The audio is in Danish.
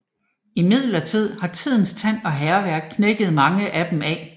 Imidlertid har tidens tand og hærværk knækket mange af dem af